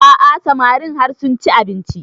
A'a samarin har sun ci abinci